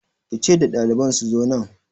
Ki ce da daliban su zo nan!